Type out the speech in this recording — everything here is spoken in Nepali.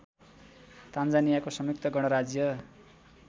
तान्जानियाको संयुक्त गणराज्य